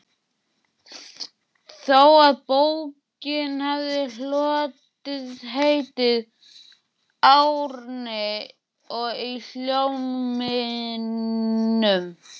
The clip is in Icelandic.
þó að bókin hafi hlotið heitið Árni í Hólminum.